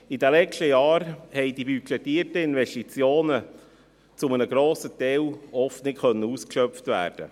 In den letzten Jahren konnten die budgetierten Investitionen oft zu einem grossen Teil nicht ausgeschöpft werden.